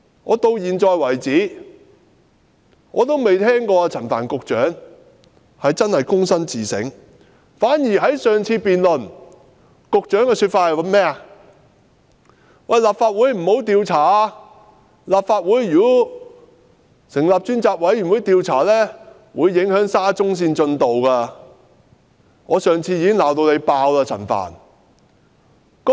我至今從沒聽到陳帆局長真的躬身自省，反而在上次辯論中，局長的說法是，立法會不應調查事件，若立法會成立專責委員會調查事件，會影響沙中線工程的進度。